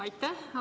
Aitäh!